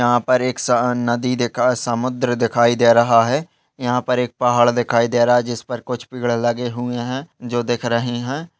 यहा पर एक सा नदी देखा समुद्र दिखाई दे रहा है यहाँ पर एक पहाड़ दिखाई दे रहा है जिस पर कुछ पेड़ लगे हुए है जो दिख रहे है।